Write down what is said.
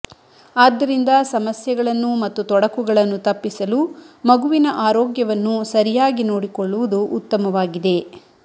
ಆದ್ದರಿಂದ ಸಮಸ್ಯೆಗಳನ್ನು ಮತ್ತು ತೊಡಕುಗಳನ್ನು ತಪ್ಪಿಸಲು ಮಗುವಿನ ಆರೋಗ್ಯವನ್ನು ಸರಿಯಾಗಿ ನೋಡಿಕೊಳ್ಳುವುದು ಉತ್ತಮವಾಗಿದೆ